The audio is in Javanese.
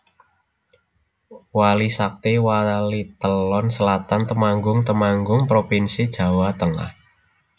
Wali Sakti Walitelon Selatan Temanggung Temanggung provinsi Jawa Tengah